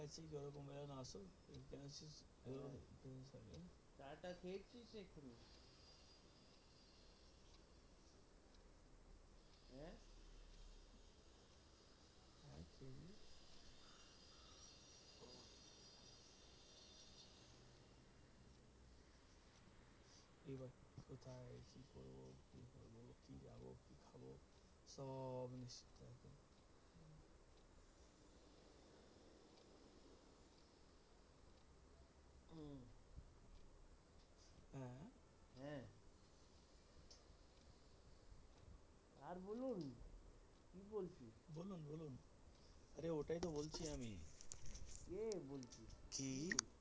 আরে ওটাই তো বলছি আমি